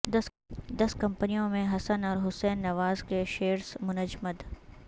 دس کمپنیوں میں حسن اور حسین نواز کے شیئرز منجمد